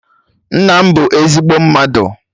Nna m bụ ezigbo mmadụ